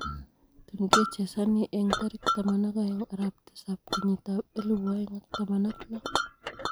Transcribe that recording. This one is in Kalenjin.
Tun kechezani eng tarik 12:07:2016.